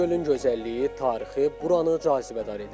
Göygölün gözəlliyi, tarixi buranı cazibədar edir.